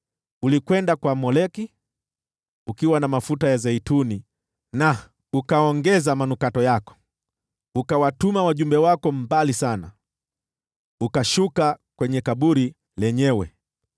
Ulikwenda kwa Moleki ukiwa na mafuta ya zeituni, na ukaongeza manukato yako. Ukawatuma wajumbe wako mbali sana, ukashuka kwenye kaburi lenyewe!